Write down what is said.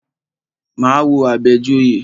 Máa wo Àbẹ̀joyè.